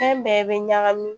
Fɛn bɛɛ bɛ ɲagami